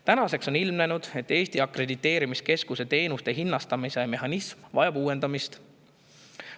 Tänaseks on ilmnenud, et Eesti Akrediteerimiskeskuse teenuste hinnastamise mehhanism vajab uuendamist.